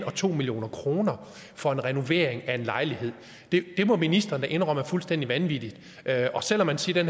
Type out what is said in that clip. og to million kroner for en renovering af en lejlighed det må ministeren da indrømme er fuldstændig vanvittigt selv om man siger